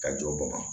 Ka jɔ bɔgɔ kan